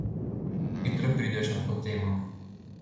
Hitro prideš na to temo.